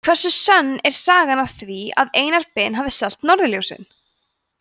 hversu sönn er sagan af því að einar ben hafi selt norðurljósin